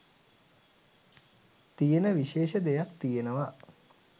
තියෙන විශේෂ දෙයක් තියෙනවා.